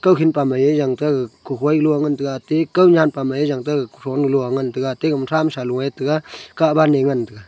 kukhin pa mai ae yanta ag kohoi lua ngan taega te kau nyanpa mai ye taga kufou lo nua ngan taega taige thamsa lou ae tega kahba ne ngan taega.